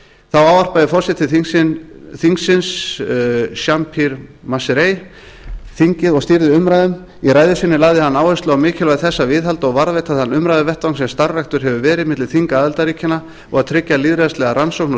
þá ávarpaði forseti þingsins jean pierre masseret þingið og stýrði umræðum í ræðu sinni lagði hann áherslu á mikilvægi þess að viðhalda og varðveita þann umræðuvettvang sem starfræktur hefur verið milli þinga aðildarríkjanna að tryggja lýðræðislega rannsókn og